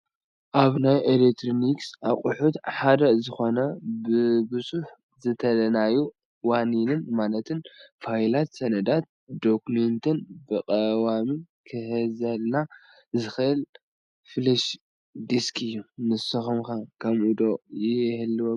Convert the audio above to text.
ካብ ናይ ኤሌክትሮኒክስ ኣቑሑት ሓደ ዝኾነ ንብዙሕ ዝደለናዮ ዋኒኒን ማለት ፋይላት፣ ሰነዳትን ዶኩሜንትን ብቐዋሚ ክሕዘልና ዝኽእል ፍለሽ ዲስክ እዩ፡፡ ንስኹም ከ ከምዚ ዶ ይህልወኩም?